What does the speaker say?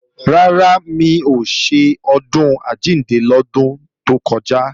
Rárá, mi ò ṣe Ọdún Àjíǹde lọ́dún tó kọjá